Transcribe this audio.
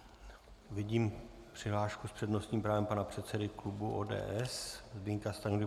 Vidím přihlášku s přednostním právem pana předsedy klubu ODS Zbyňka Stanjury.